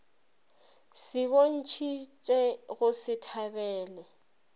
se bontšhitše go se thabele